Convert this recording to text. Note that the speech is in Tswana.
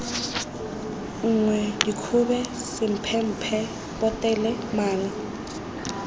nngwe dikgobe semphemphe potele mala